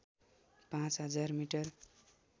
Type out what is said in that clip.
पाँच हजार मिटर